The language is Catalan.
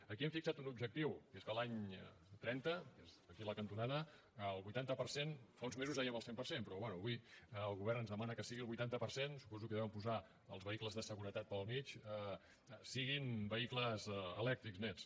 aquí hem fixat un objectiu i és que l’any trenta que és aquí a la cantonada el vuitanta per cent fa uns mesos dèiem el cent per cent però bé avui el govern ens demana que sigui el vuitanta per cent que suposo que hi deuen posar els vehicles de seguretat pel mig siguin vehicles elèctrics nets